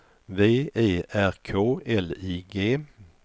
V E R K L I G